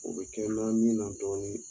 O bɛ kɛ na min na dɔɔnin